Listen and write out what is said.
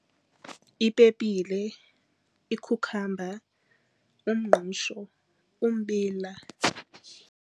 Ipepile, ikhukhamba, umngqusho, umbila.